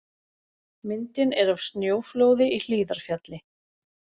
Myndin er af snjóflóði í Hlíðarfjalli.